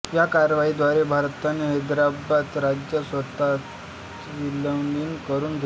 या कारवाईद्वारे भारताने हैदराबाद राज्य स्वतःत विलीन करून घेतले